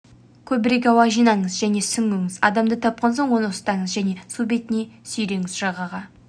көбірек ауа жинаңыз және сүңгіңіз адамды тапқан соң оны ұстаңыз және су бетіне сүйреңіз жағаға